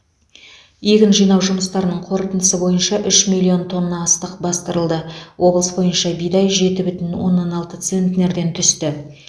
егін жинау жұмыстарының қорытындысы бойынша үш миллион тонна астық бастырылды облыс бойынша бидай жеті бүтін оннан алты центнерден түсті